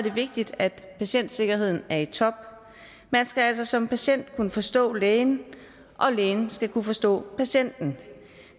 er vigtigt at patientsikkerheden er i top man skal altså som patient kunne forstå lægen og lægen skal kunne forstå patienten